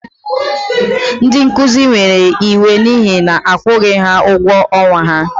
Ndị nkuzi were iwe n'ihi na-akwụghị ha ụgwọ ọnwa ha.